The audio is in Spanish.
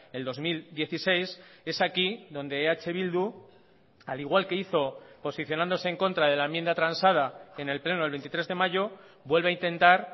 el dos mil dieciséis es aquí donde eh bildu al igual que hizo posicionándose en contra de la enmienda transada en el pleno del veintitrés de mayo vuelve a intentar